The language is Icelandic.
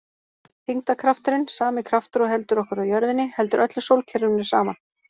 Þyngdarkrafturinn, sami kraftur og heldur okkur á jörðinni, heldur öllu sólkerfinu saman.